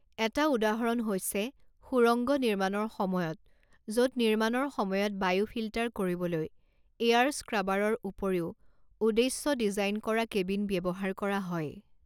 এটা উদাহৰণ হৈছে সুৰংগ নিৰ্মাণৰ সময়ত য'ত নিৰ্মাণৰ সময়ত বায়ু ফিল্টাৰ কৰিবলৈ এয়াৰ স্ক্ৰাবাৰৰ উপৰিও উদ্দেশ্য ডিজাইন কৰা কেবিন ব্যৱহাৰ কৰা হয়।